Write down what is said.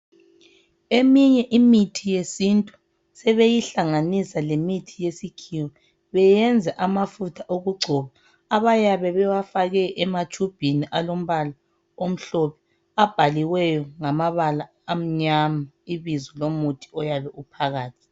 Eminye imithi yesintu sebeyihlanganisa lemithi yesikhiwa beyenze amafutha okugcoba abayabe bewafake ematshubhini alombala omhlophe abhaliweyo ngamabala amnyama ibizo lomuthi oyabe uphakathi.